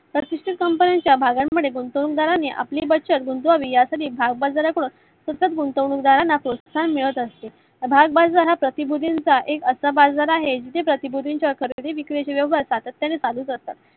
प्रतिष्ट company च्या भागान मध्ये गुंतवणूक दाराने आपली बचत गुंतवावी यासाठी भागबाजार सतत गुंतवणूक दारांना प्रोतसाहन मिळत असते. भागबाजारात प्र्तीभूतीचा एक असा बाजार आहे. जिथे प्र्तीभूतींचा खरेदी विक्री व्यवहार सात्यत्याने चालूच असतात.